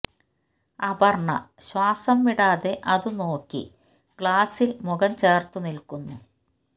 അപർണ്ണ ശ്വാസം വിടാതെ അതു നോക്കി ഗ്ളാസ്സിൽ മുഖം ചേർത്തു നിൽക്കുന്നു